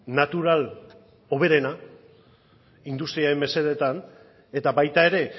natural hoberena industriaren mesedetan eta baita ere